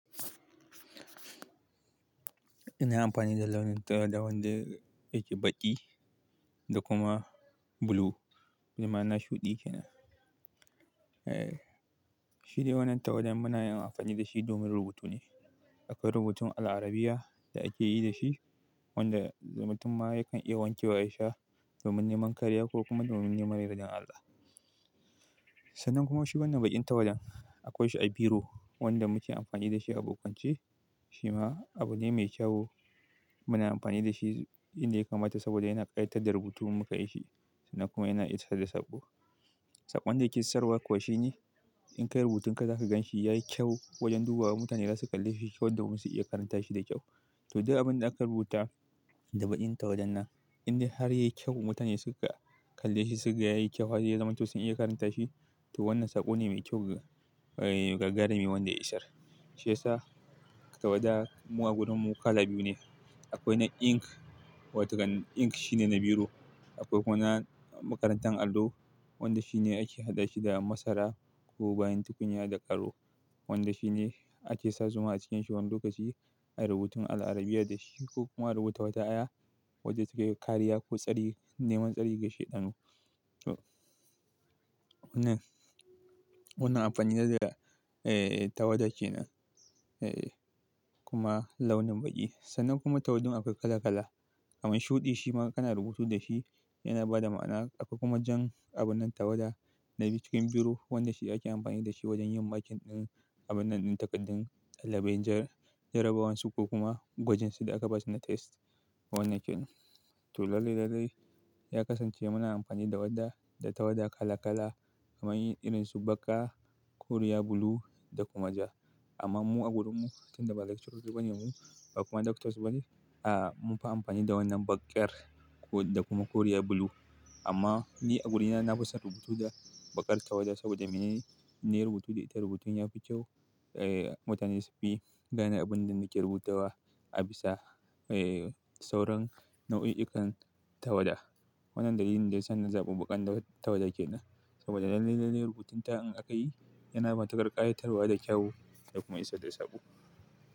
Ina amfani da launin tawada wanda yake baƙi da kuma blue, bima'ana shuɗi kenan. Eh, shi dai wannan tawada muna iya amfani da shi domin rubutu ne. Akwai rubutun al'arabiyya da ake yi da shi wanda rubutun ma yakan iya wanke wa yasha domin neman kariya ko kuma domin neman yardan Allah. Sannan kuma shi wannan baƙin tawadan akwai shi a biro wanda muke amfani da shi a bokance shima abu ne mai kyau muna amfani da shi inda ya kamata saboda yana ƙayatar da rubutu in muka yi shi sannan kuma yana isar da saƙo. Saƙon da ya ke isar wa kuwa shine in ka yi rubutun ka zaka gan shi ya yi kyau wajen dubawa mutanen da za su kalle shi domin su iya karanta shi da kyau. To, duk abin da aka rubuta da baƙin tawadan nan inda har ya yi kyau mutanen suka kalle shi suka ga ya yi kyau har zamantak su iya karanta shi to wannan saƙo ne mai kyau gagarumi wanda ya isar. Shi yasa tawada mu a gurinmu kala biyu ne. Akwai na ink wato kan ink shine na biro. Akwai kuma na makarantar allo wanda shi ne ake haɗa shi da masara ko bayan tukunya da ƙaro wanda shi ne ake sa zuma a cikin shi wani lokaci a rubutun al'arabiyya da shi ko kuma a rubuta wata aya wacce take kariya ko neman tsari ga shaidanu. Wannan amfani da tawada kenan kuma launin baƙi. Sannan kuma tawadun akwai kala kala amma shuɗi shi ma kana rubutu da shi yana bada ma'ana. Akwai kuma jan abun nan tawada na cikin biro wanda shi ake amfani da shi wajen yin makin ɗin abun nan ɗin takaddun ɗalibai jarabawansu ko kuma gwajinsu da aka basu na test wannan kenan. To, lalle lalle ya kasance muna amfani da wadda da tawada kala kala kaman irin su baƙa, koriya blue da kuma ja. Amma mu a gurinmu tunda ba lecturer bane mu ba kuma doctors bane a mun fi amfani da wannan baƙar da kuma koriyar blue. Amma ni a gurina na fi son rubutu da baƙar tawada saboda mene? Na yi rubutu da ita rubutun ya fi kyau. Eh mutane su fi gane abunda nake rubuta wa abisa sauran nau'i'ikan tawada wannan dalilin dayasa na zaɓi baƙan tawada kenan saboda lallai lallai rubutun ta in akyi yana matukar ƙayatarwa da kyau da kuma isar da saƙo.